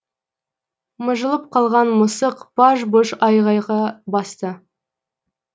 мыжылып қалған мысық баж бұж айғайға басты